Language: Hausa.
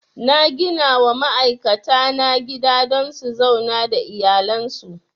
Na ginawa ma'aikata na gida don su zauna da iyalan su